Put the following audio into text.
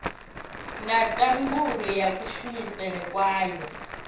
na ndangulo ya kushumisele kwawo